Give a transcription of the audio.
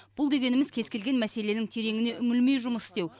бұл дегеніміз кез келген мәселенің тереңіне үңілмей жұмыс істеу